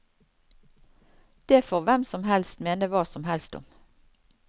Det får hvem som helst mene hva som helst om.